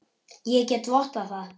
Ég get vottað það.